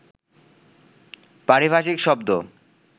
পারিভাষিক শব্দ